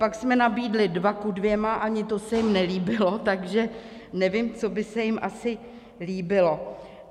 Pak jsme nabídli 2 ku 2, ani to se jim nelíbilo, takže nevím, co by se jim asi líbilo.